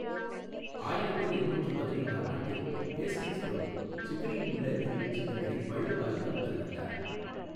ஆயிரத்து எண்ணூற்று பதினைந்தாம் ஆண்டில், ஹேஸ்டிங்ஸ் பிரபு சிக்ரியில் உள்ள நினைவுச் சின்னங்களைப் பழுதுபார்க்க உத்தரவிட்டார்.